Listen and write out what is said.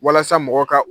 Walasa mɔgɔw ka